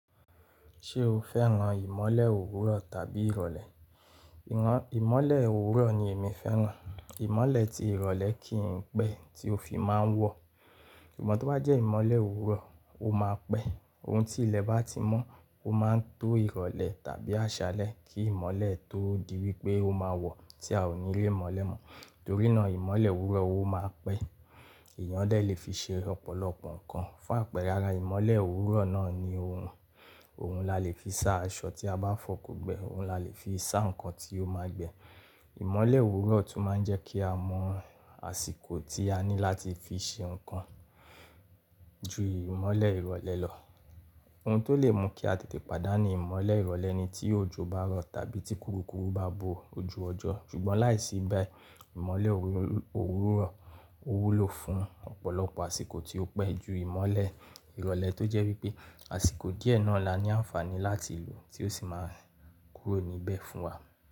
Ṣé o fẹ́ran ìmọ́lẹ̀ òwúrọ̀ tàbí ìrọ̀lẹ́? Ìmọ́lẹ̀ òwúrọ̀ ni èmi fẹ́ran. Ìmọ́lẹ̀ ti ìrọ̀lẹ́ kìn pẹ́ tí o fi máa ń wọ̀. Ṣùgbọ́n tó bá jẹ́ ìmọ́lẹ̀ òwúrọ̀, ó máa pẹ́. Òun tí ilẹ̀ bá ti mọ́, ó máa ń to ìrọ̀lẹ́ tàbí àṣálẹ́ kí ìmọ́lẹ̀ tó di wí pé ó máa wọ̀ tí a ò ní lé mọ́lẹ̀ mọ́. Torí náà ìmọ́lẹ̀ òwúrọ̀ ó máa pẹ́. Èèyàn dè lè fi ṣe ọ̀pọ̀lọpọ̀ nǹkan. Fún àpẹẹrẹ, ara ìmọ́lẹ̀ òwúrọ̀ náà ni òrùn. Òun la lè fi sá aṣọ tí a bá fọ̀kùn gbẹ. Ohun la le fi sá nǹkan tí ó máa gbẹ. Ìmọ́lẹ̀ òwúrọ̀ tún máa ń jẹ́ kí a mọ àsìkò tí a ní láti fi ṣe nǹkan ju ìmọ́lẹ̀ ìrọ̀lẹ́ lọ. Òun tó lè mú kí a tètè pàdánù ìmọ́lẹ̀ ìrọ̀lẹ́ ni tí òjò bá rọ̀ tàbí tí kúrukùru bá bo ojú ọjọ́. Ṣùgbọ́n láìsí bẹ́ẹ̀, ìmọ́lẹ̀ òwúrọ̀ òwúrọ̀ ó wúlò fún ọ̀pọ̀lọpọ̀ àsìkò tí ó pẹ́ ju ìmọ́lẹ̀ ìrọ̀lẹ́ tó jẹ́ wí pé àsìkò díẹ̀ náà la ní àǹfààní láti lò tí ó sì máa kúrò níbẹ̀ fún wa.